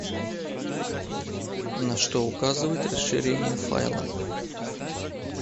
на что указывает расширение файла